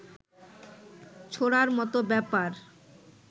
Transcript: ছোঁড়ার মত ব্যাপার